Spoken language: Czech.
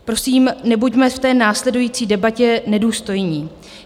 Prosím, nebuďme v té následující debatě nedůstojní.